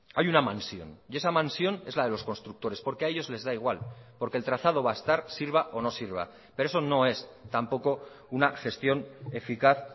hay una mansión y esa mansión es la de los constructores porque a ellos les da igual porque el trazado va a estar sirva o no sirva pero eso no es tampoco una gestión eficaz